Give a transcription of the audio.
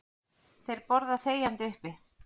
Þeir borða þegjandi uppi.